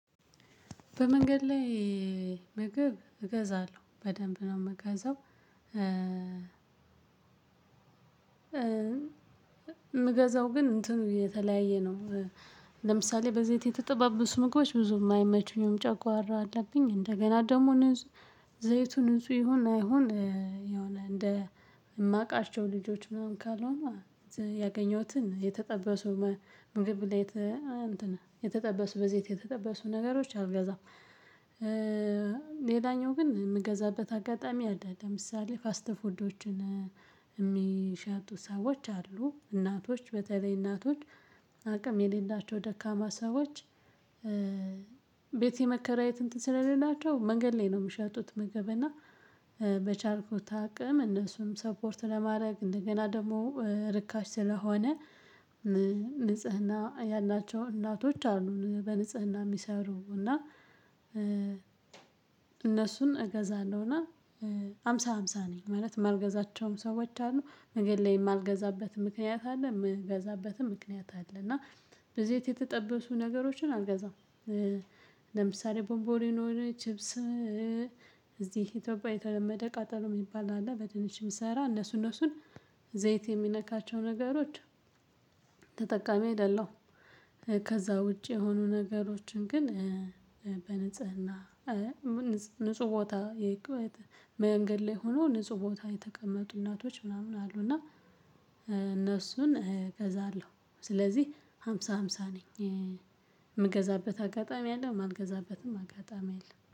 በመንገድ ላይ ምግብ እገዛለሁ በደንብ ነው የምገዛው። ምገዛው ግን እንትኑ የተለያየ ነው። ለምሳሌ በዘይት የተጠባበሱ ምግቦች ብዙም አይመቹኝም ጨጓራ አለብኝ እንደገና ደግሞ ንጹህ ዘይቱ ንጹህ ይሁን አይሁን የሆነ እንደ ማውቃቸው ልጆች ምናምን ካልሆነ ያገኘሁትን የተጠበሱ ምግብ ላይ እንትን የተጠበሱ በዘይት የተጠበሱ ነገሮች አልገዛም። ሌላኛው ግን የምገዛበት አጋጣሚ አለ ለምሳሌ ፋስት ፉዶችን የሚሸጡ ሰዎች አሉ እናቶች በተለይ እናቶች አቅም የሌላቸው ደካማ ሰዎች። ቤት የመከራየት እንትን ስለሌላቸው መንገድ ላይ ነው የሚሸጡት። ምግብ እና በቻልኩት አቅም እነሱን ሰፖርት ለማድረግ እንደገና ደግሞ ርካሽ ስለሆነ። ንጽህና ያላቸው እናቶች አሉ በንጽህና የሚሰሩ እና እነሱን እገዛለሁና። ሃምሳ ሃምሳ ነኝ ማለት ማልገዛቸውም ሰዎች አሉ መንገድ ላይ ማልገዛበትም ምክንያት አለ የምገዛበትም ምክንያት አለ። እና በዘይት የተጠበሱ ነገሮችን አልገዛም። ለምሳሌ ቦምቦሊኖ ቺፕስ። እዚህ ኢትዮጵያ የተለመደ ቃጠሎ የሚባል አለ። በድንችም የሚሰራ እነሱን እነሱን ዘይት የሚነካቸው ነገሮች። ተጠቃሚ አይደለሁም። ከዛ ውጪ የሆኑ ነገሮችን ግን በንጽህና ንጹህ ቦታ የመንገድ ላይ ሆኖ ንጹህ ቦታ የተቀመጡ እናቶች ምናምን አሉ እና እነሱን እገዛለሁ። ስለዚህ ሃምሳ ሃምሳ ነኝ የምገዛበት አጋጣሚ አለው የማልገዛበትም አጋጣሚ አለው